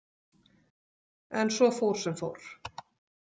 En svo fór sem fór.